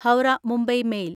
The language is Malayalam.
ഹൗറ മുംബൈ മെയിൽ